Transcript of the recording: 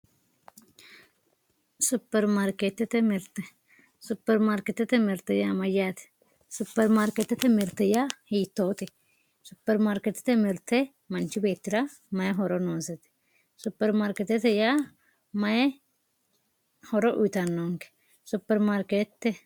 supermarikeetete mirte supermarikeetete mirte yaa mayaate supermarikeetete mirte yaa hiitoote supermarikeetete mirte manch beettira mayi horo noosete supermarikeetete yaa mayee horo uyiitanonke supermarikeete.